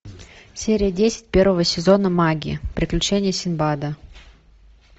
серия десять первого сезона маги приключения синдбада